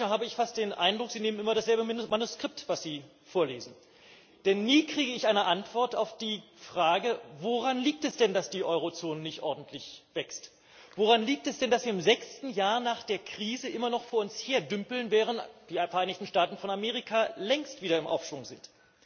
Manchmal habe ich fast den Eindruck, Sie nehmen immer dasselbe Manuskript, das Sie vorlesen, denn nie bekomme ich eine Antwort auf die Frage Woran liegt es denn, dass die Eurozone nicht ordentlich wächst, woran liegt es denn, dass wir im sechsten Jahr nach der Krise immer noch vor uns hin dümpeln, während die Vereinigten Staaten von Amerika längst wieder im Aufschwung sind?